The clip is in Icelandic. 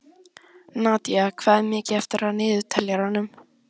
Nadía, hvað er mikið eftir af niðurteljaranum?